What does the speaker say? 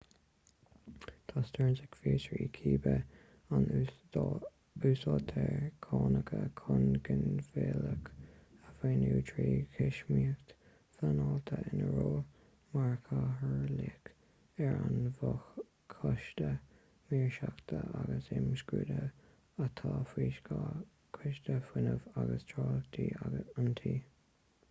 tá stearns ag fiosrú cibé an úsáidtear cánacha chun ginmhilleadh a mhaoiniú trí thuismíocht phleanáilte ina ról mar chathaoirleach ar an bhfo-choiste maoirseachta agus imscrúduithe atá faoi scáth choiste fuinnimh agus tráchtála an tí